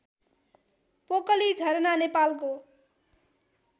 पोकली झरना नेपालको